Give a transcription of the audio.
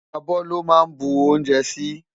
Abò lò má nbú oúnjè si